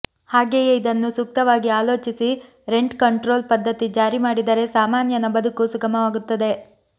ಹಾಗೆಯೇ ಇದನ್ನು ಸೂಕ್ತವಾಗಿ ಆಲೋಚಿಸಿ ರೆಂಟ್ ಕಂಟ್ರೋಲ್ ಪದ್ಧತಿ ಜಾರಿ ಮಾಡಿದರೆ ಸಾಮಾನ್ಯನ ಬದುಕು ಸುಗಮವಾಗುತ್ತದೆ